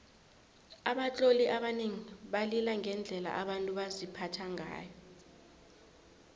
abatloli abanengi balila ngendlela abantu baziphatha ngayo